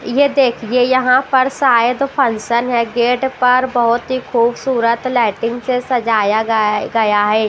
ये देखिए यहां पर शायद फंक्शन है गेट पर बहुत ही खूबसूरत लाइटिंग से सजाया गया है।